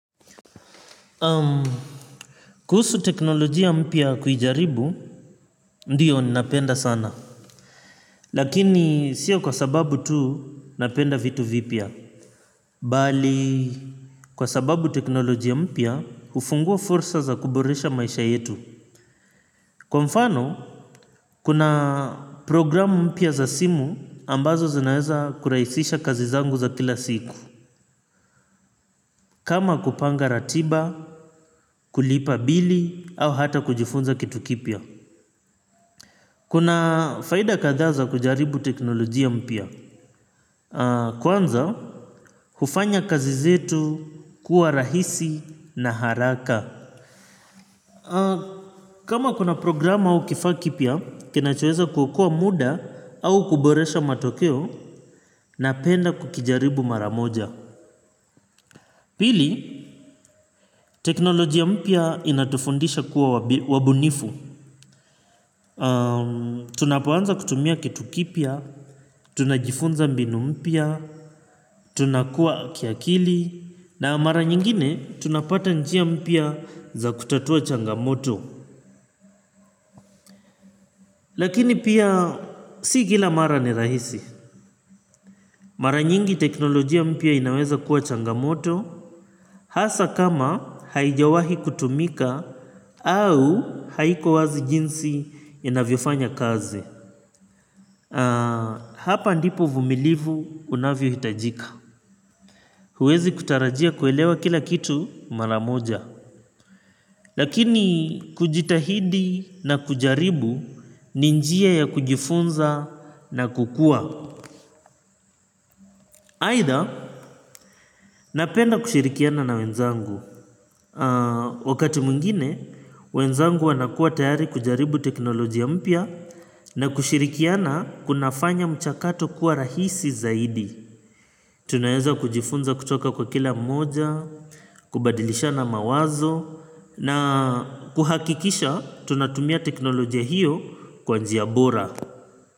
Kuhusu teknolojia mpya kuijaribu, ndio ninapenda sana. Lakini sio kwa sababu tu napenda vitu vipya. Bali, kwa sababu teknolojia mpya, hufungua fursa za kuboresha maisha yetu. Kwa mfano, kuna program mpya za simu ambazo zinaeza kurahisisha kazi zangu za kila siku. Kama kupanga ratiba, kulipa bili, au hata kujifunza kitu kipya. Kuna faida kathaa za kujaribu teknolojia mpya. Kwanza, hufanya kazi zetu kuwa rahisi na haraka. Kama kuna program au kifaa kipya, kinachoeza kuokoa muda au kuboresha matokeo napenda kukijaribu mara moja. Pili, teknolojia mpya inatufundisha kuwa wabunifu. Tunapoanza kutumia kitu kipya, tunajifunza mbinu mpya, tunakuwa kiakili, na mara nyingine tunapata njia mpya za kutatua changamoto. Lakini pia si kila mara ni rahisi. Mara nyingi teknolojia mpya inaweza kuwa changamoto. Hasa kama haijawahi kutumika au haiko wazi jinsi inavyofanya kazi. Hapa ndipo uvumilivu unavyo hitajika. Huwezi kutarajia kuelewa kila kitu mara moja. Lakini kujitahidi na kujaribu ni njia ya kujifunza na kukua. Aitha, napenda kushirikiana na wenzangu. Wakati mwingine, wenzangu wanakua tayari kujaribu teknolojia mpya na kushirikiana kunafanya mchakato kuwa rahisi zaidi. Tunaeza kujifunza kutoka kwa kila mmoja, kubadilishana mawazo, na kuhakikisha tunatumia teknolojia hiyo kwa njia bora.